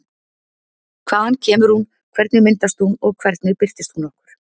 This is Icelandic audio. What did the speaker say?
Hvaðan kemur hún, hvernig myndast hún og hvernig birtist hún okkur?